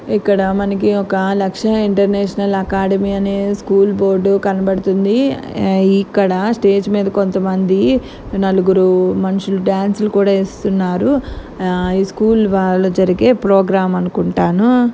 ఇక్కడ మనకి ఒక లక్ష ఇంటర్నేషనల్ అకాడమీ అనే స్కూల్ బోర్డు కనబడుతోంది. ఇక్కడ స్టేజి మీద కొంతమంది నలుగురు మనుషులు డాన్ సులు కూడా వేస్తున్నారు. ఈ స్కూల్ వాళ్ళు జరిగే ప్రోగ్రాం అనుకుంటాను.